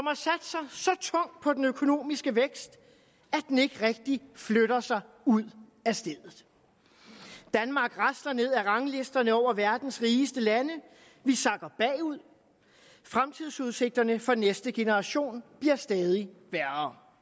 tungt på den økonomiske vækst at den ikke rigtig flytter sig ud af stedet danmark rasler ned ad ranglisterne over verdens rigeste lande vi sakker bagud fremtidsudsigterne for næste generation bliver stadig værre